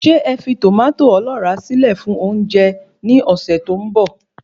Ṣé ẹ fi tòmátò ọlọ́ra síle fún oúnjẹ ni ọsẹ tó ń bọ̀